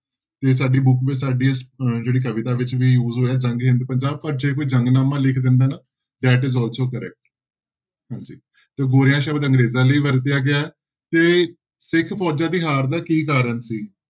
ਤੇ ਸਾਡੀ book ਵਿੱਚ ਸਾਡੀ ਅਹ ਜਿਹੜੀ ਕਵਿਤਾ ਵਿੱਚ ਵੀ use ਹੋਇਆ ਜੰਗ ਹਿੰਦ ਪੰਜਾਬ ਪਰ ਜੇ ਕੋਈ ਜੰਗਨਾਮਾ ਲਿਖ ਦਿੰਦਾ ਨਾ that is also correct ਹਾਂਜੀ ਤੇ ਗੋਰਿਆਂ ਸ਼ਬਦ ਅੰਗਰੇਜ਼ਾਂ ਲਈ ਵਰਤਿਆ ਗਿਆ ਹੈ ਤੇ ਸਿੱਖ ਫੋਜ਼ਾਂ ਦੀ ਹਾਰ ਦਾ ਕੀ ਕਾਰਨ ਸੀ।